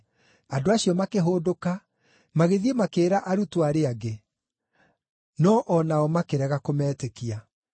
Andũ acio makĩhũndũka, magĩthiĩ makĩĩra arutwo arĩa angĩ; no-o nao makĩrega kũmetĩkia.